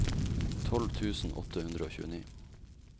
tolv tusen åtte hundre og tjueni